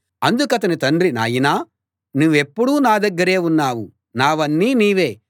అందుకతని తండ్రి నాయనా నువ్వెప్పుడూ నా దగ్గరే ఉన్నావు నావన్నీ నీవే